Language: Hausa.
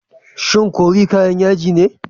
Shin curry kayan yaji ne?